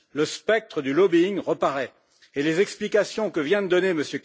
Le spectre du lobbying reparaît et les explications que vient de donner M.